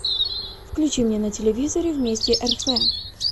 включи мне на телевизоре вместе рф